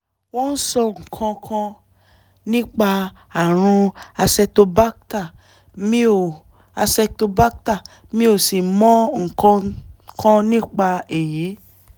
wọ́n sọ nǹkan kan nípa ààrùn acetobacter mi ò acetobacter mi ò sì mọ nǹkan kan nípa èyí